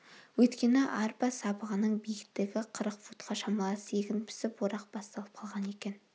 өйткені арпа сабағының биіктігі қырық футқа шамалас егін пісіп орақ басталып қалған екен